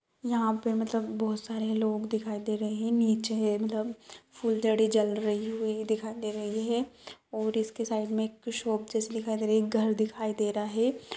यहाँ पे मतलब बोहोत सारे लोग दिखाई दे रहे हैं नीचे मतलब फुलजड़ी जल रही हुई दिखाई दे रही हैऔर इसके साइड मे एक शॉप जैसी दिखाई दे रही है एक घर दिखाई दे रहा है।